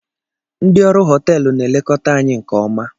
Ndị ọrụ họteelụ na-elekọta anyị nke ọma